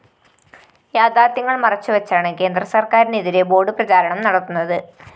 യാഥാര്‍ത്ഥ്യങ്ങള്‍ മറച്ചുവെച്ചാണ് കേന്ദ്രസര്‍ക്കാരിനെതിരെ ബോർഡ്‌ പ്രചാരണം നടത്തുന്നത്